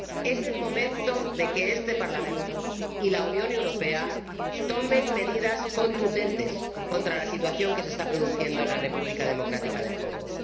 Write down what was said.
Es el momento de que este Parlamento y la Unión Europea tomen medidas contundentes contra la situación que se está produciendo en la República Democrática del Congo.